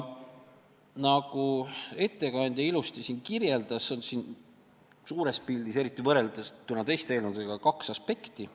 Nagu ettekandja ilusti kirjeldas, on siin suures pildis – eriti võrreldes teiste eelnõudega – esil kaks aspekti.